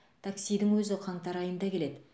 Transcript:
таксидің өзі қаңтар айында келеді